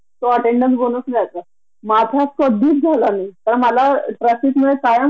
आणि अर्थात आपल्या जे कामईचे हे त्याला घराच्या सगळ्या खर्चाला सुद्धा हातभार लागतो की